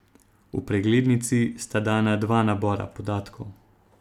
V preglednici sta dana dva nabora podatkov.